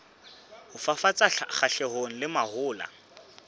ho fafatsa kgahlanong le mahola